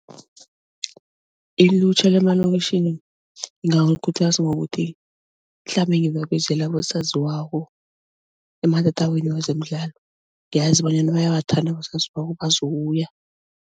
Ilutjha lemalokitjhini ngingabakhuthaza ngokuthi mhlambe ngibabizela abosaziwako ematatawini wezemidlalo ngiyazi bonyana bayawathanda abosaziwako bazokubuya.